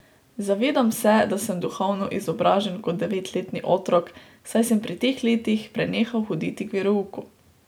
Zavedam se, da sem duhovno izobražen kot devetletni otrok, saj sem pri teh letih prenehal hoditi k verouku.